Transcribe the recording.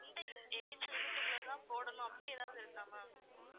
இந்த age தான் போடணும் அப்படி ஏதாவது இருக்கா ma'am